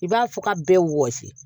I b'a fɔ ka bɛɛ wɔsi